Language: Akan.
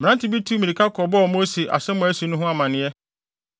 Mmerante bi tuu mmirika kɔbɔɔ Mose asɛm a asi no ho amanneɛ